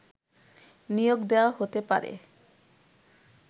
নিয়োগ দেয়া হতে পারে